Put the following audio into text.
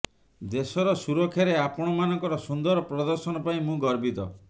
ଦେଶର ସୁରକ୍ଷାରେ ଆପଣମାନଙ୍କର ସୁନ୍ଦର ପ୍ରଦର୍ଶନ ପାଇଁ ମୁଁ ଗର୍ବିତ